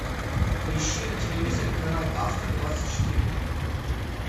поищи на телевизоре канал авто двадцать четыре